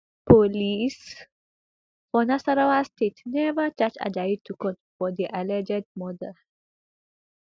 police for nasarawa state neva charge ajayi to court for di alleged murder